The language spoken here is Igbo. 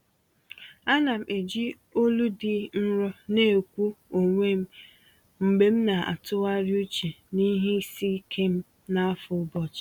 Ana m eji olu dị nro na-ekwu n’onwe m mgbe m na-atụgharị uche n’ihe isi ike m n’afọ ụbọchị.